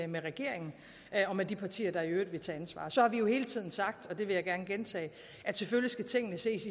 med regeringen og med de partier der i øvrigt vil tage ansvar så har vi jo hele tiden sagt og det vil jeg gerne gentage at selvfølgelig skal tingene ses